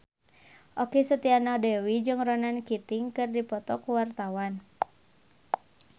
Okky Setiana Dewi jeung Ronan Keating keur dipoto ku wartawan